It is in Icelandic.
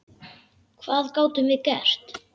Hvað gátum við gert?